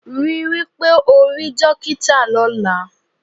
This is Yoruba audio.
Rí wí pé ó rí dókítà lọ́la